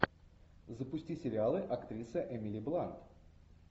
запусти сериалы актриса эмили блант